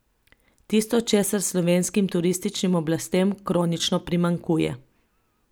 Tisto, česar slovenskim turističnim oblastem kronično primanjkuje.